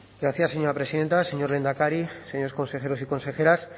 gracias señora presidenta señor lehendakari señores consejeros y consejeras